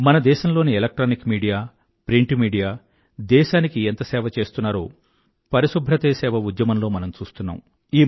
మన దేశం లోని ఎలక్ట్రానిక్ మీడియా ప్రింట్ మీడియా దేశానికి ఎంత సేవ చేస్తున్నారో పరిశుభ్రతే సేవ ఉద్యమంలో మనం చూస్తున్నాం